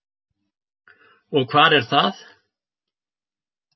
Og hvar er það?